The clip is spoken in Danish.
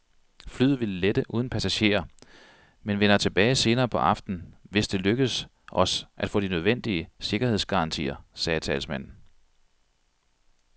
Flyet vil lette uden passagerer, men vender tilbage senere på aftenen, hvis det lykkes os at få de nødvendige sikkerhedsgarantier, sagde talsmanden.